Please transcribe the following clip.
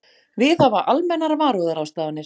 Viðhafa almennar varúðarráðstafanir.